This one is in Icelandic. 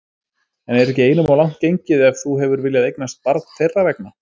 En er ekki einum of langt gengið, ef þú hefur viljað eignast barn þeirra vegna?